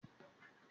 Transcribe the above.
Dọ́kítá ni Akin.